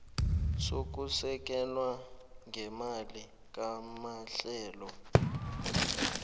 sokusekelwa ngeemali kwamahlelo